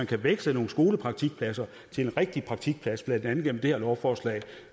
kan veksle nogle skolepraktikpladser til en rigtig praktikplads blandt andet via det her lovforslag